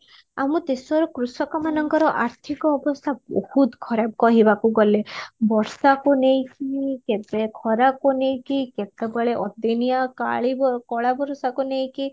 ଆମ ଦେଶର କୃଶକ ମାନଙ୍କର ଆର୍ଥିକ ଅବସ୍ଥା ବହୁତ ଖରାପ କହହିବାକୁ ଗଲେ ବର୍ଷା କୁ ନେଇକି କେବେ ଖରା କୁ ନେଇକି କେତେବେଳେ ଅଦିନିଆ କାଲୀ କଳା ବର୍ଷାକୁ ନେଇକି